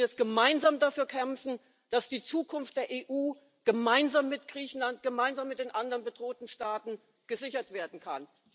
Wir müssen jetzt gemeinsam dafür kämpfen, dass die Zukunft der EU gemeinsam mit Griechenland, gemeinsam mit den anderen bedrohten Staaten gesichert werden kann.